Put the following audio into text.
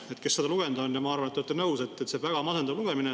Kui keegi seda lugenud on, ma arvan, et te olete nõus, et see on väga masendav lugemine.